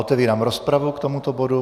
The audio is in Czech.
Otevírám rozpravu k tomuto bodu.